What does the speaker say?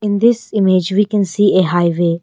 In this image we can see a highway.